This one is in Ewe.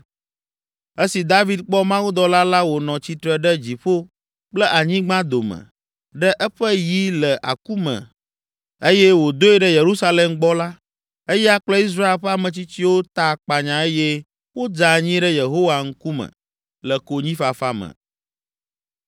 Esi David kpɔ mawudɔla la wònɔ tsitre ɖe dziƒo kple anyigba dome, ɖe eƒe yi le aku me eye wòdoe ɖe Yerusalem gbɔ la, eya kple Israel ƒe ametsitsiwo ta akpanya eye wodze anyi ɖe Yehowa ŋkume, le konyifafa me.